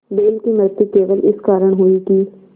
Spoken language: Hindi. बैल की मृत्यु केवल इस कारण हुई कि